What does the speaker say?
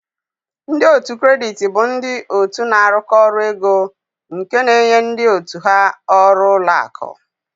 Ndị otu kredit bụ ndị otu na-arụkọ ọrụ ego nke na-enye ndị otu ha ọrụ ụlọ akụ.